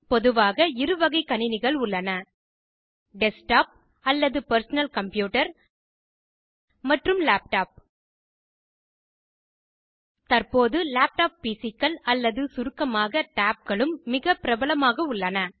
பொதுவாக இருவகை கணினிகள் உள்ளன டெஸ்க்டாப் அல்லது பெர்சனல் கம்ப்யூட்டர் மற்றும் லேப்டாப் தற்போது டேப்லெட் பிசிக்கள் அல்லது சுருக்கமாக டேப்களும் மிக பிரபலமாக உள்ளன